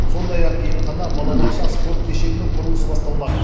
сондай ақ емхана балабақша спорт кешенінің құрылысы басталмақ